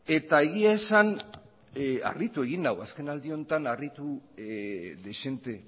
eta egia esan harritu egin nau azken aldi honetan harritu dezente